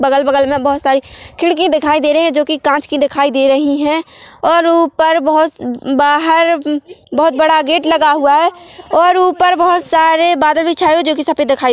अगल बगल में बहुत सारी खिड़की दिखाय दे रही है जो कि काच कि दिखाय दे रही है और ऊपर बहोत बहार बहुत बड़ा गेट लगा हुआ है और ऊपर बहुत सारे बादल भी छाए हुए है कि जो सफ़ेद दिखाई--